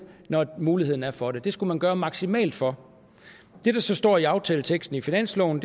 når muligheden er for det det skulle man gøre maksimalt for det der så står i aftaleteksten i finansloven